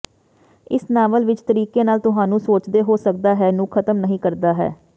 ਇਸ ਨਾਵਲ ਵਿੱਚ ਤਰੀਕੇ ਨਾਲ ਤੁਹਾਨੂੰ ਸੋਚਦੇ ਹੋ ਸਕਦਾ ਹੈ ਨੂੰ ਖਤਮ ਨਹੀ ਕਰਦਾ ਹੈ